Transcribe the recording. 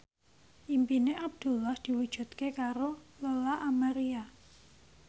impine Abdullah diwujudke karo Lola Amaria